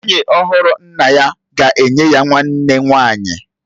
Nwunye ọhụrụ nna ya ga-enye ya nwanne nwanyị